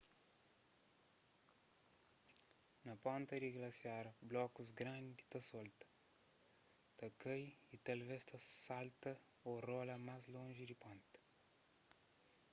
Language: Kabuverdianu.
na ponta di glasiar blokus grandi ta solta ta kai y talvês ta salta ô rola más lonji di ponta